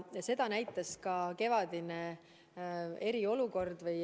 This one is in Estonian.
Seda näitas ka kevadine eriolukord.